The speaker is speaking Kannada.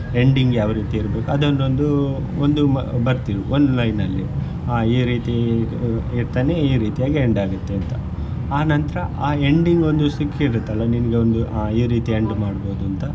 Ending ಯಾವ ರೀತಿ ಇರ್ಬೇಕು ಅದನ್ನೊಂದು ಒಂದು ಬರ್ದ್ ಇಡು ಒಂದು line ಅಲ್ಲಿ ಆ ರೀತಿ ಇರ್ತಾನೆ ಈ ರೀತಿಯಾಗಿ end ಆಗುತ್ತೆ ಅಂತ ಆನಂತರ ಆ ending ಒಂದು ಸಿಕ್ಕಿರುತ್ತಲ್ಲ ನಿನ್ಗೊಂದು ಆ ಈ ರೀತಿ end ಮಾಡ್ಬಹುದು ಅಂತ.